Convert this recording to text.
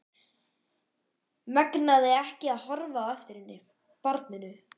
Megnaði ekki að horfa á eftir henni, barninu.